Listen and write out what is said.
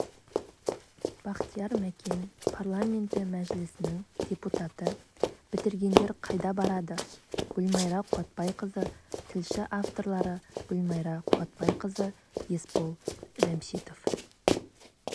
бахтияр мәкен парламенті мәжілісінің депутаты бітіргендер қайда барады гүлмайра қуатбайқызы тілші авторлары гүлмайра қуатбайқызы есбол жамшитов